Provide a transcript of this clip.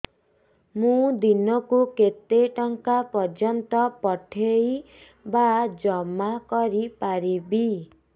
ମୁ ଦିନକୁ କେତେ ଟଙ୍କା ପର୍ଯ୍ୟନ୍ତ ପଠେଇ ବା ଜମା କରି ପାରିବି